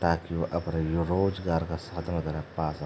ताकि यु अपड़ा यो रोजगार क साधन वगैरा पा सके।